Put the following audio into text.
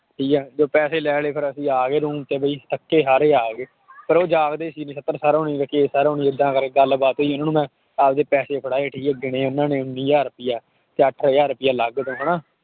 ਠੀਕ ਹੈ ਜਦੋਂ ਪੈਸੇ ਲੈ ਲਏ ਫਿਰ ਅਸੀਂ ਆ ਗਏ room 'ਚ ਵੀ ਥੱਕੇ ਹਾਰੇ ਆ ਗਏ ਪਰ ਉਹ ਜਾਗਦੇ ਸੀ ਏਦਾਂ ਕਰਕੇ ਗੱਲਬਾਤ ਹੋਈ ਉਹਨਾਂ ਨੂੰ ਮੈਂ ਆਪਦੇ ਪੈਸੇ ਫੜਾਏ ਠੀਕ ਹੈ ਗਿਣੇ ਉਹਨਾਂ ਨੇ ਹਜ਼ਾਰ ਰੁਪਇਆ ਤੇ ਅੱਠ ਹਜ਼ਾਰ ਰੁਪਇਆ ਅਲੱਗ ਤੋਂ ਹਨਾ